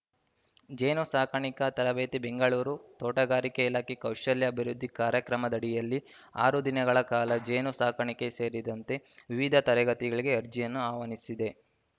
ಜೇನು ಸಾಕಾಣಿಕೆ ತರಬೇತಿ ಬೆಂಗಳೂರು ತೋಟಗಾರಿಕೆ ಇಲಾಖೆ ಕೌಶಲ್ಯ ಅಭಿವೃದ್ಧಿ ಕಾರ್ಯಕ್ರಮದಡಿಯಲ್ಲಿ ಆರು ದಿನಗಳ ಕಾಲ ಜೇನು ಸಾಕಾಣಿಕೆ ಸೇರಿದಂತೆ ವಿವಿಧ ತರಗತಿಗಳಿಗೆ ಅರ್ಜಿಗಳನ್ನು ಆಹ್ವಾನಿಸಿದೆ